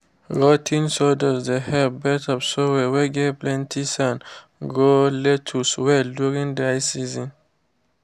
rot ten sawdust dey help beds of soil whey get plenty sand grow lettuce well during dry season.